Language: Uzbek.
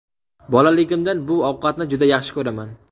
Bolaligimdan bu ovqatni juda yaxshi ko‘raman.